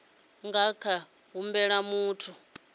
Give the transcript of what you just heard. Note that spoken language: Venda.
nga kha ḓi humbela muthu